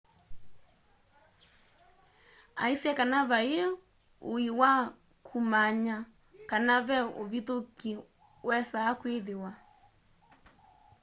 aisye kana vaĩi ũĩ wa kũmanya kana ve ũvithũkĩ wesaa kwĩthĩwa